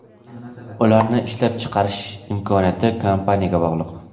Ularni ishlab chiqarish imkoniyati kompaniyaga bog‘liq.